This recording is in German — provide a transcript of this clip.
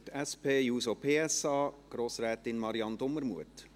Für die SP-JUSO-PSA-Fraktion: Grossrätin Marianne Dumermuth.